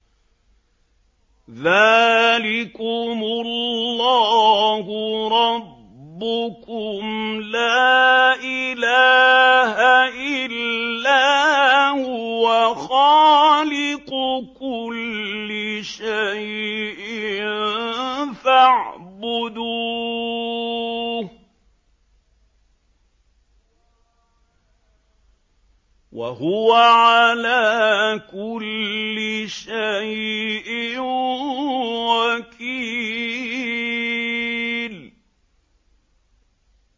ذَٰلِكُمُ اللَّهُ رَبُّكُمْ ۖ لَا إِلَٰهَ إِلَّا هُوَ ۖ خَالِقُ كُلِّ شَيْءٍ فَاعْبُدُوهُ ۚ وَهُوَ عَلَىٰ كُلِّ شَيْءٍ وَكِيلٌ